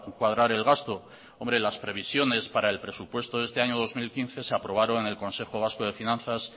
cuadrar el gasto las previsiones para el presupuesto de este año dos mil quince se aprobaron en el consejo vasco de finanzas